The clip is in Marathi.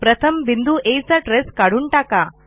प्रथम बिंदू आ चा ट्रेस काढून टाका